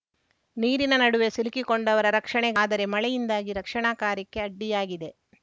ನೀರಿನ ನಡುವೆ ಸಿಲುಕಿಕೊಂಡವರ ರಕ್ಷಣೆ ಆದರೆ ಮಳೆಯಿಂದಾಗಿ ರಕ್ಷಣಾ ಕಾರ್ಯಕ್ಕೆ ಅಡ್ಡಿಯಾಗಿದೆ